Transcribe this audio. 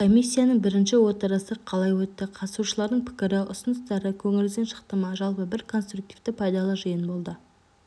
комиссияның біріншіотырысы қалай өтті қатысушылардың пікір ұсыныстары көңіліңізден шықты ма жалпы бір конструктивті пайдалы жиын болды